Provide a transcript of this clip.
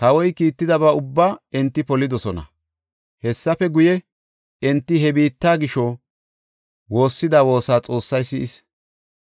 Kawoy kiittidaba ubbaa enti polidosona. Hessafe guye, enti he biitta gisho woossida woosa Xoossay si7is.